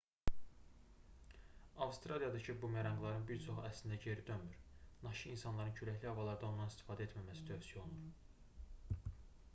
avstraliyadakı bumeranqların bir çoxu əslində geri dönmür naşı insanların küləkli havalarda ondan istifadə etməməsi tövsiyə olunur